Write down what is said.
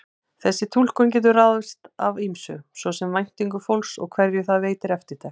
Þessi túlkun getur ráðist af ýmsu, svo sem væntingum fólks og hverju það veitir eftirtekt.